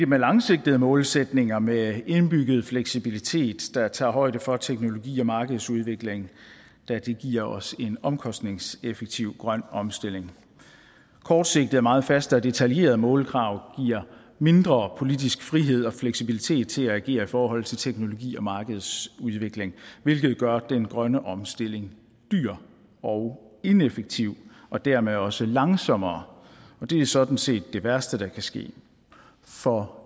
med langsigtede målsætninger med indbygget fleksibilitet der tager højde for teknologi og markedsudvikling da det giver os en omkostningseffektiv grøn omstilling kortsigtede og meget faste og detaljerede målkrav giver mindre politisk frihed og fleksibilitet til at agere i forhold til teknologi og markedets udvikling hvilket gør den grønne omstilling dyr og ineffektiv og dermed også langsommere og det er sådan set det værste der kan ske for